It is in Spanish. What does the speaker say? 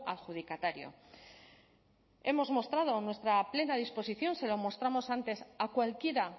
adjudicatario hemos mostrado nuestra plena disposición se lo mostramos antes a cualquiera